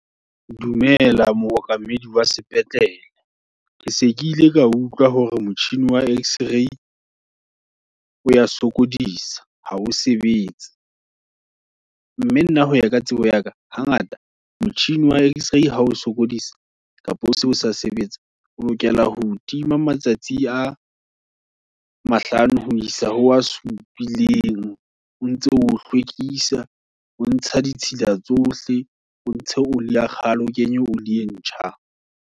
Dumela mookamedi wa sepetlele, ke se ke ile ka utlwa, hore motjhini wa x ray, o ya sokodisa, ha o sebetse. Mme nna hoya ka tsebo yaka, ha ngata, motjhini wa x ray, hao o sokodisa, kapa o se o sa sebetse. O lokela ho otima matsatsi a mahlano, ho isa ho a supileng, o ntse o hlwekisa, o ntsha ditshila tsohle, o ntshe oli ya kgale, o kenye oli e ntjha.